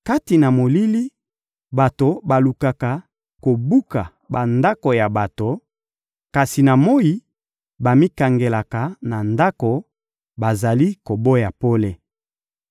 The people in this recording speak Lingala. Kati na molili, bato balukaka kobuka bandako ya bato; kasi na moyi, bamikangelaka na ndako, bazali koboya pole.